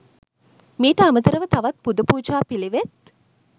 මීට අමතරව තවත් පුද පූජා පිළිවෙත්